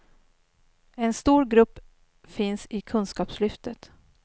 En stor grupp finns i kunskapslyftet.